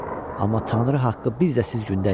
amma Tanrı haqqı biz də siz gündəyik.